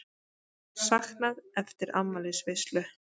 Saknað eftir afmælisveislu